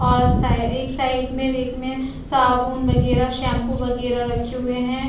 और साइ एक साइड में रेक में साबुन वगेरा सेम्पु वगेरा रखे हुए है।